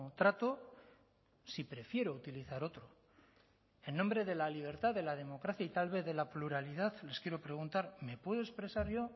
trato si prefiero utilizar otro en nombre de la libertad de la democracia y tal vez de la pluralidad les quiero preguntar me puedo expresar yo